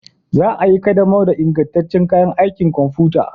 Za a yi ƙaddamar da ingantaccen kayan aikin kwamfuta